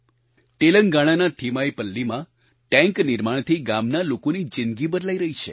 તેલંગાણાના થીમાઈપલ્લીમાં ટેન્ક નિર્માણથી ગામના લોકોની જિંદગી બદલાઈ રહી છે